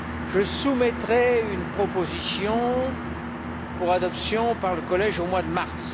Je soumettrai une proposition pour adoption par le collège, au mois de mars.